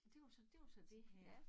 Det var så det var så det her